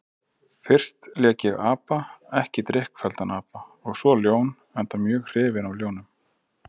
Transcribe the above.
Fyrst lék ég apa, ekki drykkfelldan apa, og svo ljón, enda mjög hrifinn af ljónum.